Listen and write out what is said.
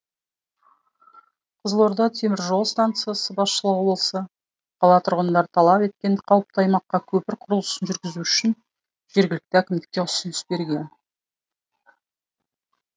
қызылорда теміржол станциясы басшылығы болса қала тұрғындары талап еткен қауіпті аумаққа көпір құрылысын жүргізу үшін жергілікті әкімдікке ұсыныс берген